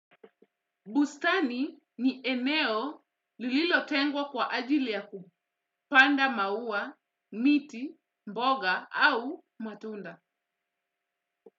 Bustani ni eneo lililotengwa kwa ajili ya kupanda maua, miti, mboga au matunda.